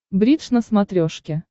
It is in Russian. бридж на смотрешке